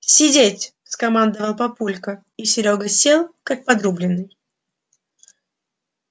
сидеть скомандовал папулька и серёга сел как подрубленный